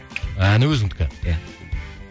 әні өзіңдікі иә